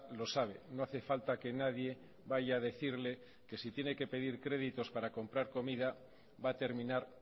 lo sabe no hace falta que nadie vaya a decirle que si tiene que pedir créditos para comprar comida va a terminar